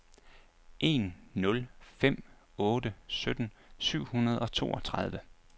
en nul fem otte sytten syv hundrede og toogtredive